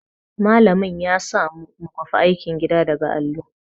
Malamin ya samu mu kwafi aikin gida daga allo.